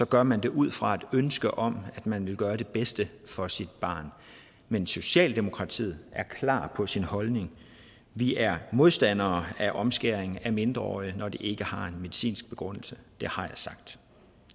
gør man det ud fra et ønske om at man vil gøre det bedste for sit barn men socialdemokratiet er klar på sin holdning vi er modstandere af omskæring af mindreårige når det ikke har en medicinsk begrundelse det har jeg sagt